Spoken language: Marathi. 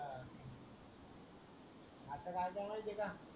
आता माहित्ये का